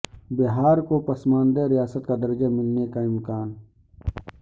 بہار کو پسماندہ ریاست کا درجہ ملنے کا امکان